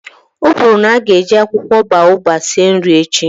O kwuru na a ga-eji akwụkwọ boababab sie nri echi